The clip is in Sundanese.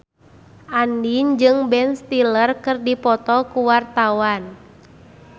Andien jeung Ben Stiller keur dipoto ku wartawan